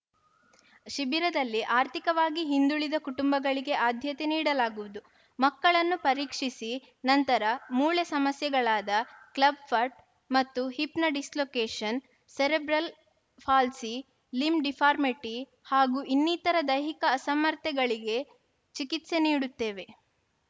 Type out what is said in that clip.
ಶಿಬಿರದಲ್ಲಿ ಆರ್ಥಿಕವಾಗಿ ಹಿಂದುಳಿದ ಕುಟುಂಬಗಳಿಗೆ ಆದ್ಯತೆ ನೀಡಲಾಗುವುದು ಮಕ್ಕಳನ್ನು ಪರೀಕ್ಷಿಸಿ ನಂತರ ಮೂಳೆ ಸಮಸ್ಯೆಗಳಾದ ಕ್ಲಬ್‌ ಫಟ್‌ ಮತ್ತು ಹಿಪ್‌ನ dislocation cerebral palsy limb deformity ಹಾಗೂ ಇನ್ನಿತರ ದೈಹಿಕ ಅಸಮರ್ಥತೆಗಳಿಗೆ ಚಿಕಿತ್ಸೆ ನೀಡುತ್ತೇವೆ